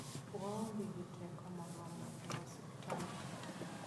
Waonge gi teko moromo e osiptal.